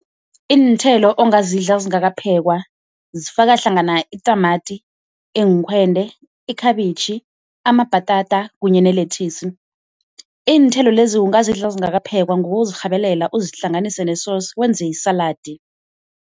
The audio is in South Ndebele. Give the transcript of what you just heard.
Iinthelo ongazidla zingakaphekwa zifaka hlangana itamati, iinkhwende, ikhabitjhi, amabhatata kunye ne-lettuce. Iinthelo lezi ungazidla zingakaphekwa ngokuzirhabelela uzihlanganise ne-sauce wenze isaladi.